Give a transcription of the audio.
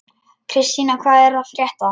Kristína, hvað er að frétta?